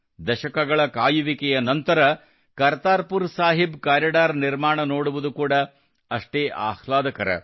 ದಶಕಗಳ ಕಾಯುವಿಕೆಯ ನಂತರ ಕರ್ತಾರ್ ಪುರ್ ಸಾಹಿಬ್ ಕಾರಿಡಾರ್ ನಿರ್ಮಾಣ ನೋಡುವುದು ಕೂಡಾ ಅಷ್ಟೇ ಆಹ್ಲಾದಕರ